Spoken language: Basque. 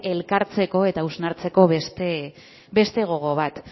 elkartzeko eta hausnartzeko beste gogo bat